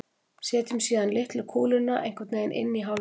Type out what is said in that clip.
setjum síðan litlu kúluna einhvern veginn inn í hálfkúluna